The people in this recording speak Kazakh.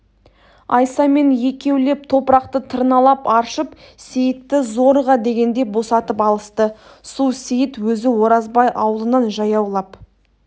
айсамен екеулеп топырақты тырналап аршып сейітті зорға дегенде босатып алысты су сейіт өзі оразбай аулынан жаяулап